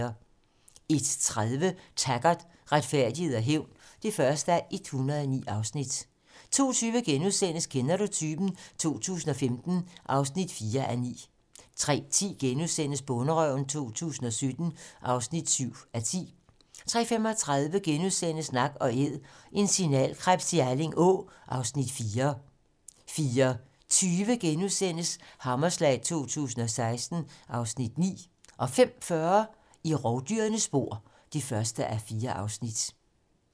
01:30: Taggart: Retfærdighed og hævn (1:109) 02:20: Kender du typen? 2015 (4:9)* 03:10: Bonderøven 2017 (7:10)* 03:35: Nak & æd - en signalkrebs i Alling Å (Afs. 4)* 04:20: Hammerslag 2016 (Afs. 9)* 05:40: I rovdyrenes spor (1:4)